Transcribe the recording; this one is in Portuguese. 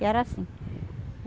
E era assim.